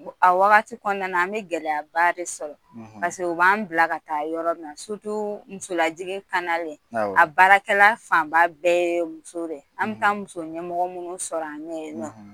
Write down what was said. A wagati kɔnɔna na, an bɛ gɛlɛyaba de sɔrɔ u b'an bila ka taa yɔrɔ min musolajigin a baarakɛla fanba bɛɛ ye muso de ye, an mi taa muso ɲɛmɔgɔ minnu sɔrɔ an ɲɛ ye nɔ